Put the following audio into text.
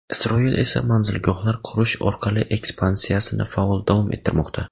Isroil esa manzilgohlar qurish orqali ekspansiyasini faol davom ettirmoqda.